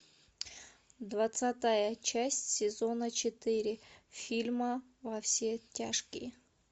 двадцатая часть сезона четыре фильма во все тяжкие